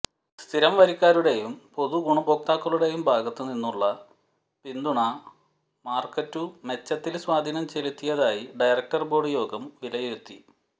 സ്ഥിരം വരിക്കാരുടെയും പൊതുഗുണഭോക്താക്കളുടെയും ഭാഗത്തു നിന്നുമുള്ള പിന്തുണ മാര്ക്കറ്റുമെച്ചത്തില് സ്വാധീനം ചെലുത്തിയതായി ഡയറക്റ്റര് ബോര്ഡ് യോഗം വിലയിരുത്തി